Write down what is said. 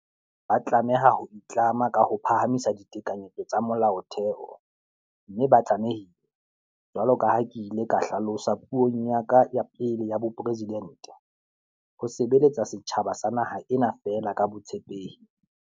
Ba tlameha ho itlama ka ho phahamisa ditekanyetso tsa Molaotheo, mme ba tlame hile, jwalo ka ha ke ile ka hla losa puong ya ka ya pele ya bopresidente, ho sebeletsa setjhaba sa naha ena feela ka botshepehi.